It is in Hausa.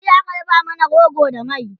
jiya aka dafa mana rogo da mai